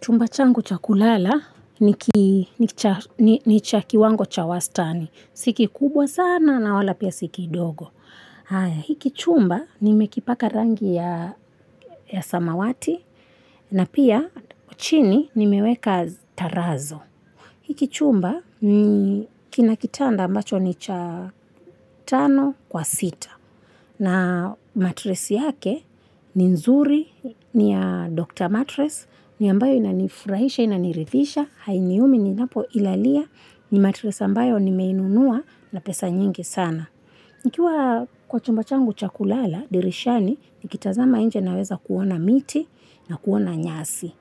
Chumba changu cha kulala ni cha kiwango cha wastani. Si kikubwa sana, na wala pia si kidogo. Hiki chumba nimekipaka rangi ya samawati, na pia chini nimeweka tarazo. Hiki chumba ni kina kitanda ambacho ni cha tano kwa sita. Na matress yake ni nzuri, ni ya Doctor matress, ni ambayo ina nifurahisha ina niridhisha, hainiumi ninapoilalia ni matress ambayo nimeinunua na pesa nyingi sana. Nikiwa kwa chumba changu cha kulala, dirishani, nikitazama nje naweza kuona miti na kuona nyasi.